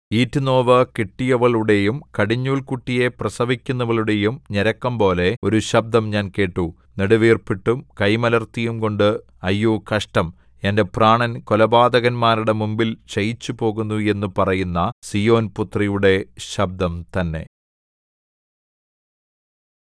ഈറ്റുനോവു കിട്ടിയവളുടെയും കടിഞ്ഞൂൽകുട്ടിയെ പ്രസവിക്കുന്നവളുടെയും ഞരക്കംപോലെ ഒരു ശബ്ദം ഞാൻ കേട്ടു നെടുവീർപ്പിട്ടും കൈമലർത്തിയുംകൊണ്ട് അയ്യോ കഷ്ടം എന്റെ പ്രാണൻ കൊലപാതകന്മാരുടെ മുമ്പിൽ ക്ഷയിച്ചുപോകുന്നു എന്ന് പറയുന്ന സീയോൻപുത്രിയുടെ ശബ്ദം തന്നെ